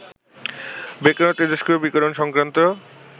Becquerel তেজস্ক্রিয় বিকীরণ সংক্রান্ত